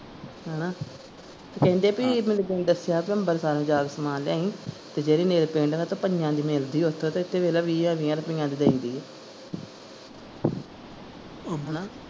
ਹੈਨਾ ਕਹਿੰਦੇ ਭੀ ਮੈਨੂੰ ਤੂੰ ਦੱਸਿਆ ਬੀ ਅੰਬਰਸਰੋਂ ਜਾ ਕੇ ਸਮਾਨ ਲਿਆਈ ਜੇ ਜਿਹੜੀ nail paint ਆ ਨਾ ਪੰਜਾਂ ਦੀ ਮਿਲਦੀ ਆ ਓਥੋਂ ਤੇ ਇਥੇ ਵੇਖਲਾ ਵੀਹਾਂ ਵੀਹਾਂ ਰੁਪਇਆ ਦੀ ਦੇਂਦੀ ਉ ਹਾਂ ਹੈਨਾ।